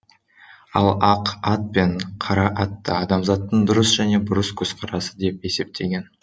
ал ақ ат пен қара атты адамзаттың дұрыс және бұрыс көзқарасы деп есептеген